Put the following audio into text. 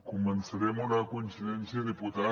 començaré amb una coincidència diputat